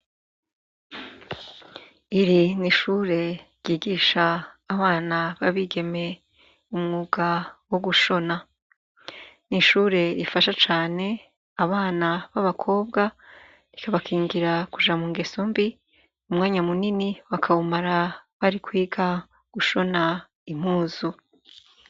Iri ni ishure ryigisha abana b' abigeme umwuga wo gushona ni ishure rifasha cane abana b' abakobwa rikabakingira kuja mungeso mbi umwanya munini bakawumara bari kwiga gushona impuzu.